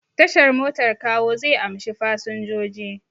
Tashar motar Kawo zai amshi fasinjoji.